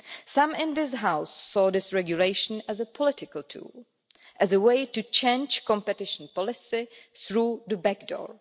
Some in this House saw this regulation as a political tool, as a way to change competition policy through the back door.